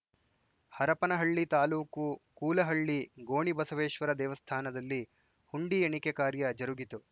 ಹರಪನಹಳ್ಳಿ ತಾಲೂಕು ಕೂಲಹಳ್ಳಿ ಗೋಣಿಬಸವೇಶ್ವರ ದೇವಸ್ಥಾನದಲ್ಲಿ ಹುಂಡಿ ಎಣಿಕೆ ಕಾರ್ಯ ಜರುಗಿತು